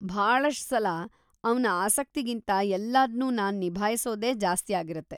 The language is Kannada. ಭಾಳಷ್ಟ್‌ ಸಲ ಅವ್ನ ಆಸಕ್ತಿಗಿಂತಾ ಎಲ್ಲದ್ನೂ ನಾನ್‌ ನಿಭಾಯ್ಸೊದೇ ಜಾಸ್ತಿ ಆಗಿರತ್ತೆ.